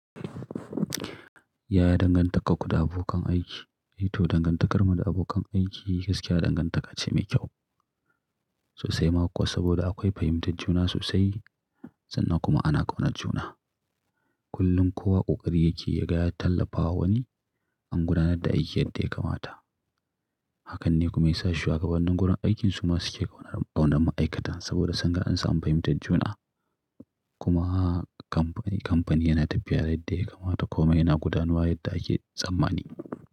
Yaya dangantakar ku da abokan aiki? Ito dangantakarmu da abokan aiki gaskiya dangantaka ce mai kyau sosai maƙuwa, saboda akwai fahimtar juna sosai sannan kuma ana ƙaunar juna. Kullum kowa ƙoƙari yake ya ga ya tallafawa wani an gudanar da aiki yadda ya kamata. Hakan ne kuma ya sa shuwagabannin gurin aikin su ma suke ƙaunar ma'aikata saboda sun ga an sami fahimtar juna kuma kamfani yana tafiya yadda ya kamata komai yana gudanuwa yadda ake tsamani.